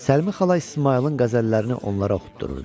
Səlmi xala İsmayılın qəzəllərini onlara oxutdururdu.